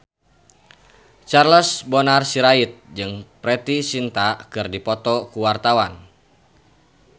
Charles Bonar Sirait jeung Preity Zinta keur dipoto ku wartawan